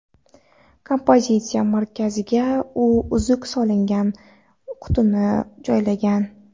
Kompozitsiya markaziga u uzuk solingan qutini joylagan.